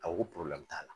A ko ko t'a la